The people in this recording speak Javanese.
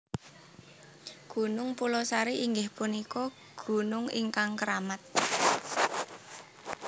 Gunung Pulosari inggih punika gunung ingkang keramat